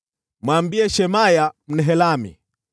Mwambie Shemaya Mnehelami,